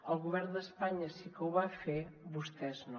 el govern d’espanya sí que ho va fer vostès no